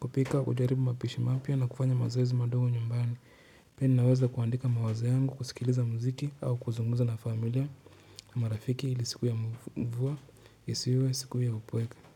Kupika hujaribu mapishi mapya na kufanya mazoezi madogo nyumbani. Pia ninaweza kuandika mawazo yangu, kusikiliza muziki au kuzunguza na familia. Marafiki ili siku ya mvua, isiwe siku ya upweke.